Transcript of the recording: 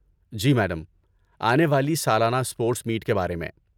جی madam, آنے والی سالانہ اسپورٹس میٹ کے بارے میں۔